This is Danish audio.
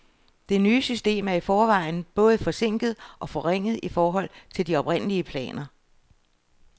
Det nye system er i forvejen både forsinket og forringet i forhold til de oprindelige planer.